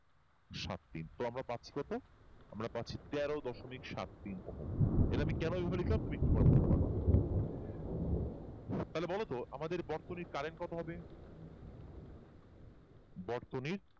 সাত তিন তো আমরা পাচ্ছি কত? আমারা পাচ্ছি তের সাত তিন ওহম এটা আমি কেন এরকম লিখলাম তুমি পরে বুঝতে পারবা তাহলে বলতো আমাদের বর্তনীর current কত হবে বর্তনীর